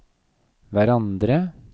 hverandre